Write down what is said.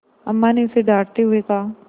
अम्मा ने उसे डाँटते हुए कहा